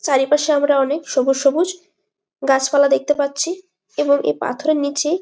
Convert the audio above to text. চারিপাশে আমরা অনেক সবুজ সবুজ গাছপালা দেখতে পাচ্ছি এবং এই পাথরের নিচে-ই--